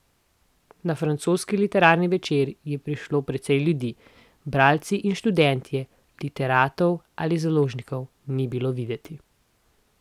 Na francoski literarni večer je prišlo precej ljudi, bralci in študentje, literatov ali založnikov ni bilo videti.